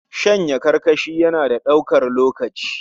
Shanya karkashin rana na da ɗaukar lokaci